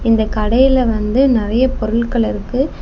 இந்த கடையில வந்து நிறைய பொருட்கள் இருக்கு.